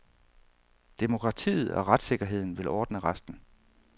Demokratiet og retssikkerheden vil ordne resten.